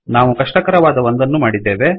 ನಾವು ಕಷ್ಟಕರವಾದ ಒಂದನ್ನು ಮಾಡಿದ್ದೇವೆ